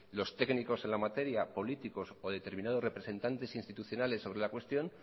los técnicos en la materia políticos o determinados representantes institucionales sobre la cuestión